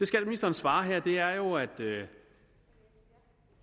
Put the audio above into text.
skatteministeren svarer her er jo at